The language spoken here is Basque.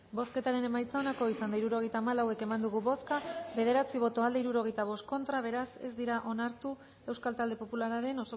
bozketaren emaitza onako izan da hirurogeita hamalau eman dugu bozka bederatzi boto aldekoa sesenta y cinco contra beraz ez dira onartu euskal talde popularraren